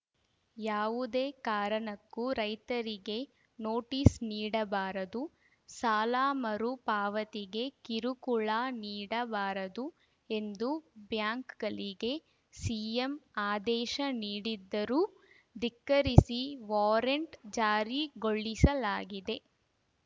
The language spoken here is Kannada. ಯಾವುದೇ ಕಾರಣಕ್ಕೂ ರೈತರಿಗೆ ನೋಟೀಸ್‌ ನೀಡಬಾರದು ಸಾಲ ಮರು ಪಾವತಿಗೆ ಕಿರುಕುಳ ನೀಡಬಾರದು ಎಂದು ಬ್ಯಾಂಕ್‌ಗಳಿಗೆ ಸಿಎಂ ಆದೇಶ ನೀಡಿದ್ದರೂ ಧಿಕ್ಕರಿಸಿ ವಾರೆಂಟ್‌ ಜಾರಿಗೊಳಿಸಲಾಗಿದೆ